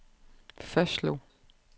fastslog